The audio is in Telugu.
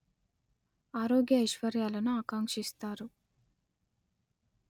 ఆరోగ్య ఐశ్వర్యాలను ఆకాంక్షిస్తారు